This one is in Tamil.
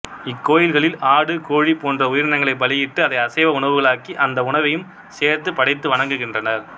இக்கோயில்களில் ஆடு கோழி போன்ற உயிரினங்களைப் பலியிட்டு அதை அசைவ உணவுகளாக்கி அந்த உணவையும் சேர்த்துப் படைத்து வணங்குகின்றனர்